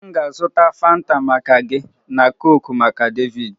M ga-azụta Fanta maka gị na coke maka David